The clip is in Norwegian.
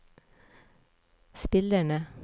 spillerne